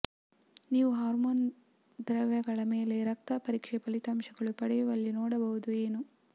ನೀವು ಹಾರ್ಮೋನ್ ದ್ರವ್ಯಗಳ ಮೇಲೆ ರಕ್ತ ಪರೀಕ್ಷೆ ಫಲಿತಾಂಶಗಳು ಪಡೆಯುವಲ್ಲಿ ನೋಡಬಹುದು ಏನು